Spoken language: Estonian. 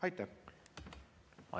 Aitäh!